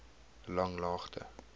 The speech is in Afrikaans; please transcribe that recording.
langlaagte